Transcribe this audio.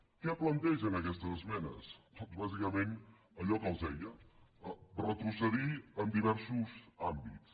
què plantegen aquestes esmenes doncs bàsicament allò que els deia retrocedir en diversos àmbits